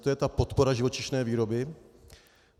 To je ta podpora živočišné výroby?